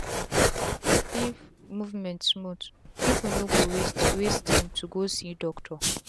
if movement smooth pipu no go waste waste tym to go see doctor